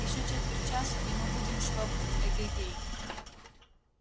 ещё четверть часа и мы будем своб эге-гей